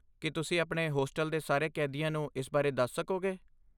ਕੀ ਤੁਸੀਂ ਆਪਣੇ ਹੋਸਟਲ ਦੇ ਸਾਰੇ ਕੈਦੀਆਂ ਨੂੰ ਇਸ ਬਾਰੇ ਦੱਸ ਸਕੋਗੇ?